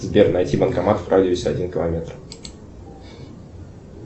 сбер найти банкомат в радиусе один километр